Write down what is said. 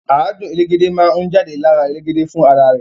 Àádùn elégédé máa ni jade lára elégédé fún ara rẹ.